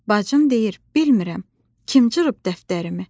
Bacım deyir: "Bilmirəm, kim cırıb dəftərimi?"